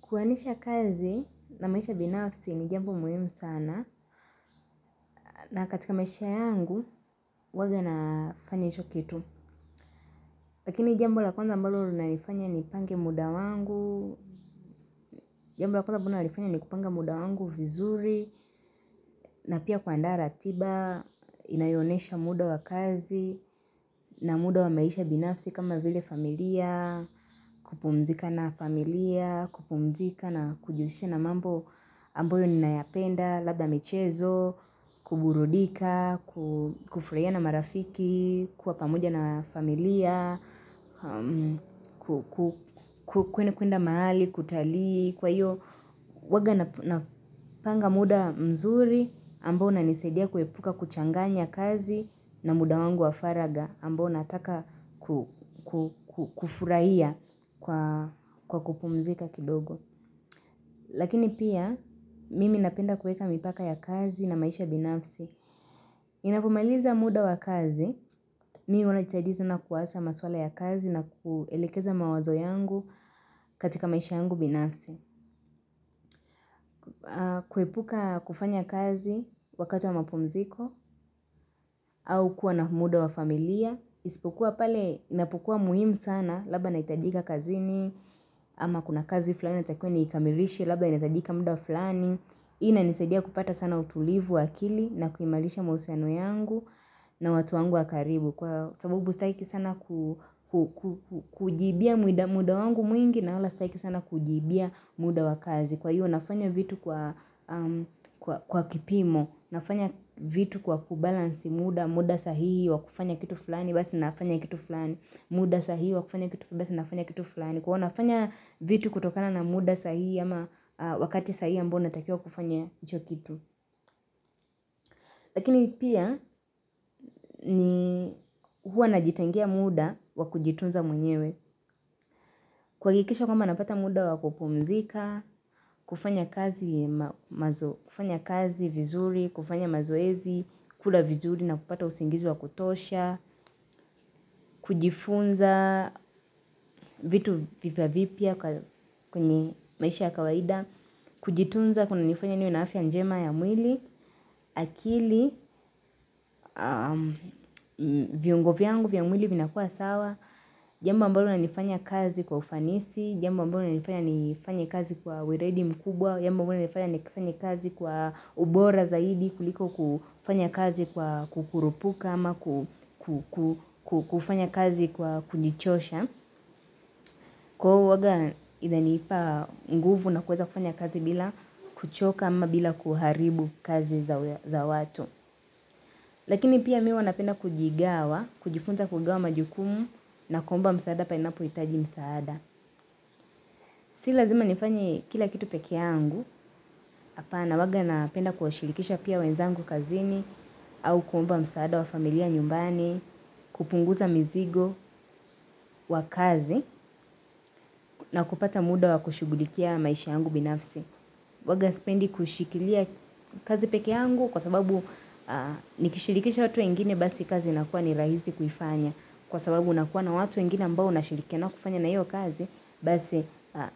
Kuwanisha kazi na maisha binafsi ni jambo muhimu sana. Na katika maisha yangu, huwaga nafana hicho kitu. Lakini jambo la kwanza ambalo linanifanya nipange muda wangu. Jambo la kwanza ambalo nalifanya ni kupange muda wangu vizuri. Na pia kuandaa ratiba, inayoonyesha muda wa kazi na muda wa maisha binafsi kama vile familia. Kupumzika na familia, kupumzika na kujihususha na mambo ambayo ninayapenda. Labda michezo, kuburudika, kufurahia na marafiki, kuwa pamoja na familia, kuenda mahali, kutalii, kwa hiyo, huwaga napanga muda mzuri, ambao unanisaidia kuepuka kuchanganya kazi, na muda wangu wa faraga, ambao naataka kufurahia kwa kupumzika kidogo. Lakini pia, mimi napenda kuweka mipaka ya kazi na maisha binafsi. Ninapomaliza muda wa kazi, mii wana chajizu na kuasa maswala ya kazi na kuilekeza mawazo yangu katika maisha yangu binafsi. Kuepuka kufanya kazi wakati wa mapumziko, au kuwa na muda wa familia. Isipokua pale, inapukuwa muhimu sana, labda nahitajika kazini, ama kuna kazi fulani yatakiwa niikamilishe, labda inahitajika muda fulani. Inanisadia kupata sana utulivu wa akili na kuimarisha mahusiano yangu na watu wangu wa waribu. Kwa sababu staki sana kujibia muda wangu mwingi na wala staki sana kujiibia muda wa kazi. Kwa hiyo nafanya vitu kwa kipimo, nafanya vitu kwa kubalansi muda, muda sahihii, wakufanya kitu fulani, basi nafanya kitu fulani muda sahihi wakufanya kitu fulani kwa wanafanya vitu kutokana na muda sahihi ama wakati sahihi ambao natakiwaia kufanya hicho kitu lakini pia ni huwa najitengea muda wakujitunza mwenyewe kwa kuhakikisha kwamba napata muda wa kupumzika kufanya kazi vizuri kufanya mazoezi kula vizuri na kupata usingizi wakutosha kujifunza vitu vipya vipya kwenye maisha ya kawaida kujitunza kuna nifanya niwe na afya njema ya mwili akili viungo vyangu vya mwili vinakuwa sawa jambo ambalo linanifanya kazi kwa ufanisi jamba ambalo linanifanya nifanya kazi kwa weledi mkubwa jambo ambalo linanifanya nifanya kazi kwa ubora zaidi kuliko kufanya kazi kukurupuka ama kufanya kazi kwa kujichosha kwa hivo huwaga inanipa nguvu na kuweza kufanya kazi bila kuchoka ama bila kuharibu kazi za watu. Lakini pia mimi huwa napenda kujigawa, kujifunza kugawa majukumu na kuomba msaada panapo hitaji msaada. Si lazima nifanye kila kitu pekee yangu, apana huwaga napenda kuwashirikisha pia wenzangu kazini au kuomba msaada wa familia nyumbani, kupunguza mzigo wa kazi na kupata muda wa kushughulikia maisha yangu binafsi. Huwaga sipendi kushikilia kazi pekee yangu kwa sababu nikishirikisha watu wengine basi kazi inakuwa ni raahisi kuifanya. Kwa sababu unakuwa na watu wengine ambao unashirikina nao kufanya iyo kazi. Basi